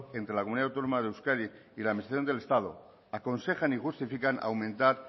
entre la comunidad autónoma de euskadi y la administración del estado aconsejan y justifican aumentar